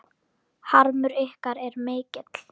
Harmur ykkar er mikill.